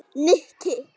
Nikki